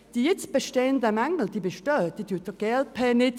Die jetzt bestehenden Mängel bestreitet auch die glp nicht.